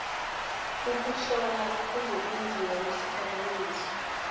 ukuhlola kuzokwenziwa ngesiphakamiso